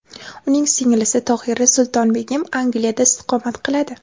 Uning singlisi Tohira Sultonbegim Angliyada istiqomat qiladi.